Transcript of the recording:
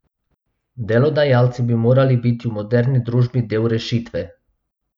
Delodajalci bi morali biti v moderni družbi del rešitve.